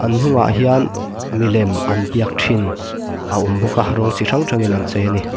an hnungah hian milem an biak thin a awm bawk a rawng chi hrang hrangin an chei a ni.